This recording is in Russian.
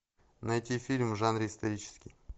найти фильм в жанре исторический